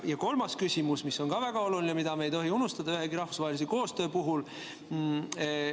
Ja kolmas küsimus, mis on ka väga oluline, mida me ei tohi unustada ühegi rahvusvahelise koostöö puhul.